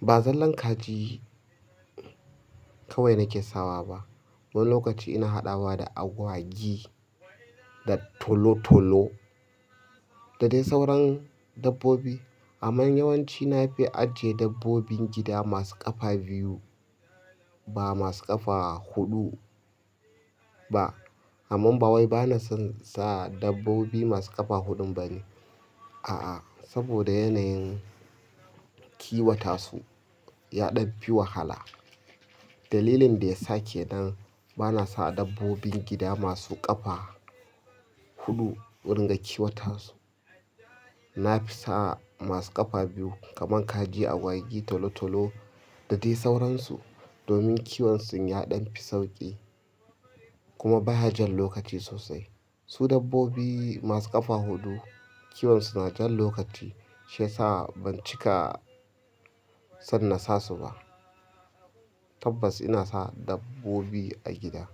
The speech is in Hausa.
Ba zallar kaji kawai nake sawa ba. Wani lokaci ina haɗawa da agwagi da tolo-tolo da dai sauran dabbobi. Amma yawanci na fi ajiye dabbobin gida masu ƙafa biyu, ba masu ƙafa huɗu ba. Amma ba wai bana son sa dabbobi masu ƙafa huɗu ba ne. A'a, saboda yanayin kiwata su ya ɗan fi wahala. Dalilin da ya sa kenan bana sa dabbobin gida masu ƙafa huɗu in ringa kiwata su. Na fi sa masu ƙafa biyu kamar kaji, agwagi, tolo-tolo da dai sauransu. Domin kiwon sun ya ɗan fi sauƙi kuma ba hajar lokaci sosai. Su dabbobi masu ƙafa huɗu, kiwon su na jan lokaci, shi ya sa ban cika son na sa su ba. Tabbas ina sa dabbobi a gida.